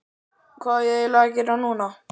Hvað á ég eiginlega að gera núna???